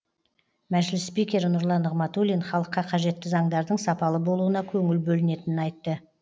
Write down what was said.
мәжіліс спикері нұрлан нығматулин халыққа қажетті заңдардың сапалы болуына көңіл бөлінетінін айтты